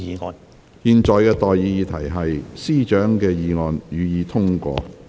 我現在向各位提出上述待決議題。